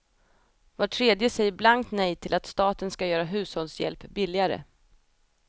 Var tredje säger blankt nej till att staten ska göra hushållshjälp billigare.